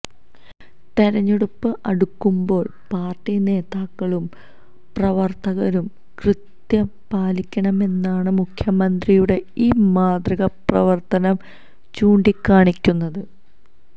തെരഞ്ഞെടുപ്പ് അടുക്കുമ്പോള് പാര്ട്ടി നേതാക്കളും പ്രവര്ത്തകരും കൃത്യത പാലിക്കണമെന്നാണ് മുഖ്യമന്ത്രിയുടെ ഈ മാതൃകാ പ്രവര്ത്തനം ചൂണ്ടികാണിക്കുന്നത്